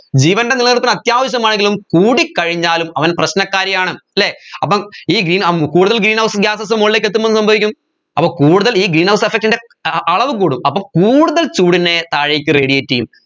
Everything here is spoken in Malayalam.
ജീവൻെറ നിലനിൽപ്പിന് അത്യാവശമായെങ്കിലും കൂടിക്കഴിഞ്ഞാലും അവൻ പ്രശ്നകാരിയാണ് അല്ലെ അപ്പം ഈ green ആഹ് ഉം കൂടുതൽ greenhouse gases മുകളിലേക്ക് എത്തുമ്പോ എന്ത് സംഭവിക്കും അപ്പൊ കൂടുതൽ ഈ greenhouse effect ൻറെ അഹ് അളവ് കൂടും അപ്പം കൂടുതൽ ചൂടിനെ താഴേക്ക് radiate ചെയ്യും